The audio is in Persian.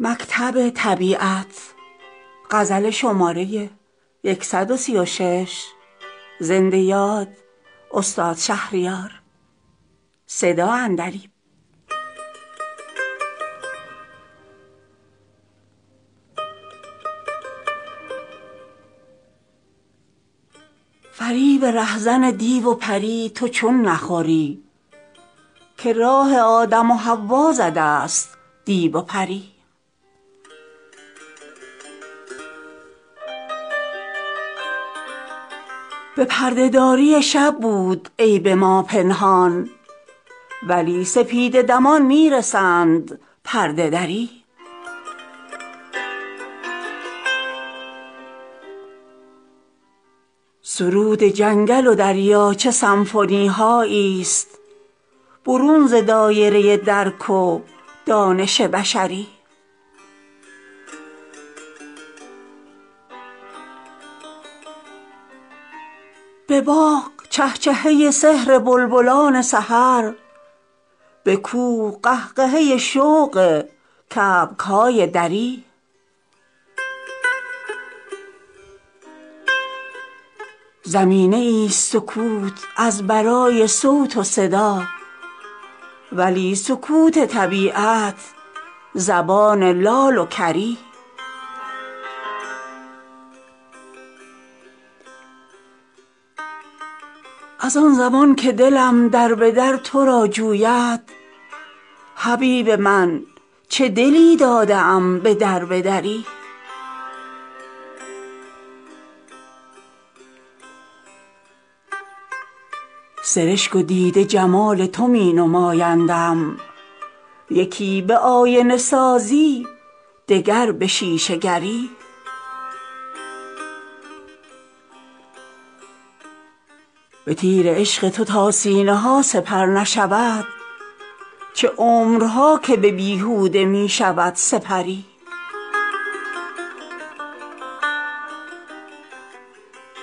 فریب رهزن دیو و پری تو چون نخوری که راه آدم و حوا زده است دیو و پری اگر نه شاهسوارستی و شکارانداز دریغ توسن تازی و ترکش تتری به پرده داری شب بود عیب ما پنهان ولی سپیده دمان می رسد پرده دری جهان چه مکتب آموزشی و پرورشی ست به گونه گونه تعالیم سمعی و بصری به چارفصل نگارین چنان تماشایی که آسمان کند از پشت کوه ها کمری بهار رنگرزش تا بساط خود برچید خزان زرگرش آید به تازه های زری سرود جنگل و دریاچه سنفونی هایی است برون ز دایره درک و دانش بشری خروس صبح هنرپیشه ای نوازنده است به چنگ و سنج صبوحی و صیحه سحری به باغ چهچهه سحر بلبلان سحر به کوه قهقهه شوق کبک های دری همه به شاهد وحدت خطاب و می گویند نه در برابر چشمی نه غایب از نظری زمینه ای ست سکوت از برای صوت و صدا ولی سکوت طبیعت زبان لال و کری مگر نه شاهد شبگرد اختر آموزد به دختران چمن شور عشق و عشوه گری چه فتنه هاست به نجوای صبحگاه نسیم که طفل غنچه به گهواره می کند ددری چه جای غنچه که گر این نسیم شاهدباز عروس لاله هم از اتهام نیست بری از آن زمان که دلم در به در ترا جوید حبیب من چه دلی داده ام به دربه دری سرشک و دیده جمال تو می نمایندم یکی به آینه سازی دگر به شیشه گری به تیر عشق تو تا سینه ها سپر نشود چه عمرها که به بیهوده می شود سپری